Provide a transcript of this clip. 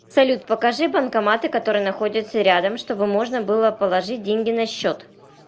салют покажи банкоматы которые находятся рядом чтобы можно было положить деньги на счет